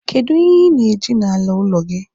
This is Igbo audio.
kedu ihe ị na-eji n'ala ụlọ gị?